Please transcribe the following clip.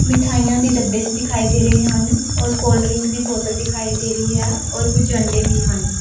ਮਿਠਾਈਆਂ ਦੇ ਡੱਬੇ ਦਿਖਾਈ ਦੇ ਰਹੇ ਹਨ ਔਰ ਕੋਲਡ ਡਰਿੰਕ ਦੀ ਬੋਤਲ ਦਿਖਾਈ ਦੇ ਰਹੀ ਆ ਔਰ ਕੁਛ ਅੰਡੇ ਵੀ ਹਨ।